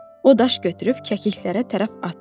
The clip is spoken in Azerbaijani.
O daş götürüb kəkliklərinə tərəf atdı.